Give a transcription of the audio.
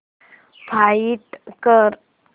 find कर